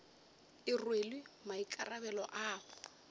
e rwele maikarabelo a go